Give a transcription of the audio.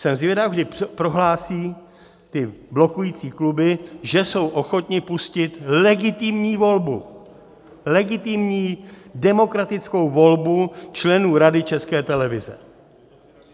Jsem zvědav, kdy prohlásí ty blokující kluby, že jsou ochotny pustit legitimní volbu, legitimní demokratickou volbu členů Rady České televize.